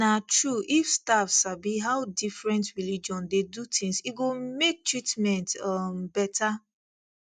na true if staff sabi how different religion dey do things e go make treatment um better